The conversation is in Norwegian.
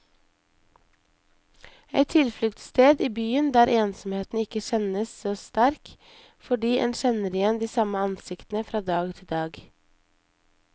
Et tilfluktssted i byen der ensomheten ikke kjennes så sterk, fordi en kjenner igjen de samme ansiktene fra dag til dag.